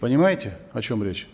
понимаете о чем речь